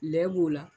Lɛ b'o la